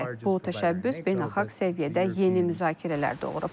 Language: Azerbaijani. Bu təşəbbüs beynəlxalq səviyyədə yeni müzakirələr doğurub.